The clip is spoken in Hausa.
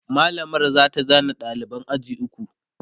mallamar zata zana ɗaliban ajin duka